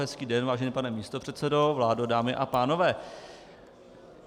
Hezký den, vážený pane místopředsedo, vládo, dámy a pánové.